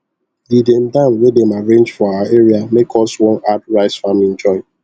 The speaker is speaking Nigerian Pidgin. the dem dam wey dem arrange for our area make us one add rice faming join